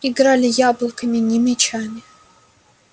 играли яблоками не мячами